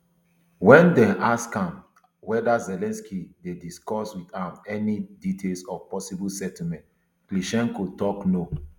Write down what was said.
wen dem ask am weda zelensky dey discuss wut am any details of possible settlement klitschko tok no